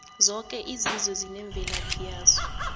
zoke izizwe zinemvelaphi yazo